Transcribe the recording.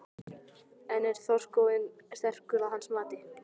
En er þorskstofninn sterkur að hans mati?